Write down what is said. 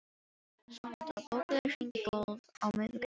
Sónata, bókaðu hring í golf á miðvikudaginn.